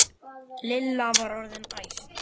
Lilla var orðin æst.